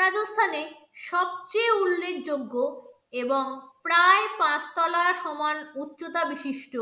রাজস্থানের সবচেয়ে উল্লেখযোগ্য এবং প্রায় পাঁচ তলার সমান উচ্চতা বিশিষ্ট